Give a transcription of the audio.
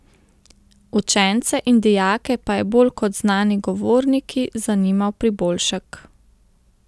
Učence in dijake pa je bolj kot znani govorniki zanimal priboljšek.